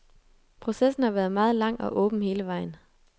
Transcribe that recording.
Processen har været meget lang og åben hele vejen.